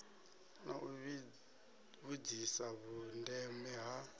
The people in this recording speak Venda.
na u vhudzisa vhundeme ha